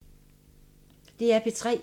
DR P3